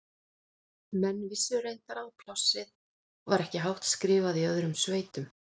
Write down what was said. Menn vissu reyndar að plássið var ekki hátt skrifað í öðrum sveitum.